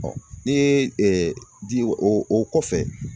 ni ye di o o kɔfɛ.